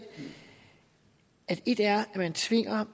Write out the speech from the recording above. at et er